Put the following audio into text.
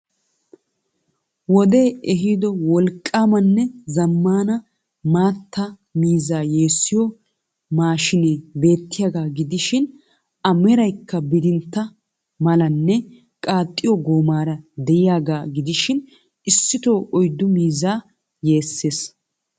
Wodee ehiido wolqqaamanee zammaanna matta miizzaa yeessiyo machine beettiyaagaa gidishiin a meraykka bidintta malanne qaaxxiyo goomaara diyaagaa gidishiin issito oyddu mizzaa yeesees.